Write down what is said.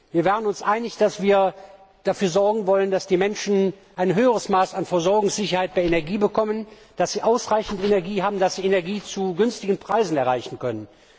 Wir waren uns einig, dass wir dafür sorgen wollen, dass die Menschen ein höheres Maß an Versorgungssicherheit bei Energie bekommen, dass sie ausreichend Energie haben, dass sie Energie zu günstigen Preisen kaufen können.